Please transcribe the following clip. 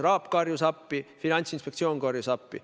RAB karjus appi, Finantsinspektsioon karjus appi.